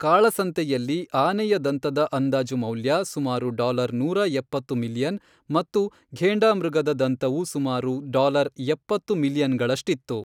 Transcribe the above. ಕಾಳಸಂತೆಯಲ್ಲಿ ಆನೆಯ ದಂತದ ಅಂದಾಜು ಮೌಲ್ಯ ಸುಮಾರು ಡಾಲರ್ ನೂರ ಎಪ್ಪತ್ತು ಮಿಲಿಯನ್ ಮತ್ತು ಘೇಂಡಾಮೃಗದ ದಂತವು ಸುಮಾರು ಡಾಲರ್ ಎಪ್ಪತ್ತು ಮಿಲಿಯನ್ಗಳಷ್ಟಿತ್ತು.